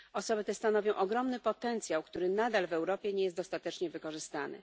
Osoby te stanowią ogromny potencjał, który nadal w Europie nie jest dostatecznie wykorzystany.